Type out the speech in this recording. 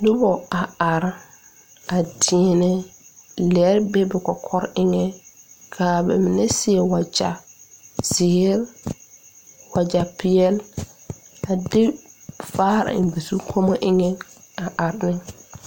Nobɔ a are a deɛnɛ lɛɛ be ba kɔkɔre eŋɛ kaa ba mine seɛ wagyɛ zeere wagyɛ peɛle a de vaare eŋ ba zukɔmɔ eŋɛ a are ne.